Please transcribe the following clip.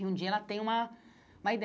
E um dia ela tem uma uma